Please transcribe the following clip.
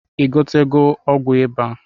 I gotego ọgwụ iba?